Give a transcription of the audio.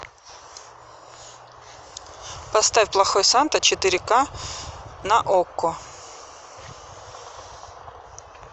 поставь плохой санта четыре ка на окко